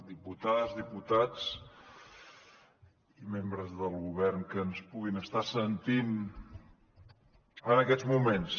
diputades diputats membres del govern que ens puguin estar sentint en aquests moments